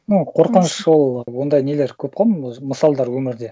ну қорқыныш ол ондай нелер көп қой мысалдар өмірде